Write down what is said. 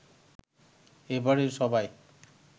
এ বাড়ির সবাই